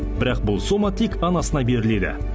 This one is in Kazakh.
бірақ бұл сома тек анасына беріледі